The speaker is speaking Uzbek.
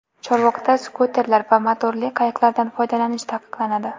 Chorvoqda skuterlar va motorli qayiqlardan foydalanish taqiqlanadi.